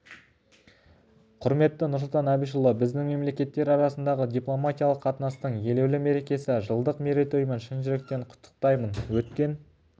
құрметті нұрсұлтан әбішұлы біздің мемлекеттер арасындағы дипломатиялық қатынастың елеулі мерекесі жылдық мерейтоймен шын жүректен құттықтаймын өткен